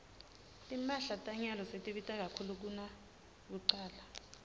timphahla tanyalo setibita kakhulu kunakucala